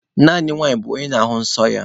Naanị nwanyị bụ onye na-ahụ nsọ ya.